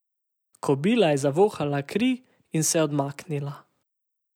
Kobila je zavohala kri in se odmaknila.